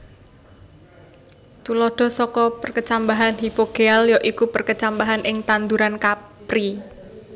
Tuladha saka perkecambahan hipogéal ya iku perkecambahan ing tanduran kapri